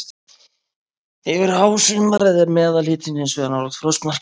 Yfir hásumarið er meðalhitinn hins vegar nálægt frostmarki.